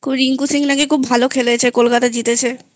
খুব রিঙ্কু সিং নাকি খুব ভালো খেলেছে কলকাতা জিতেছেI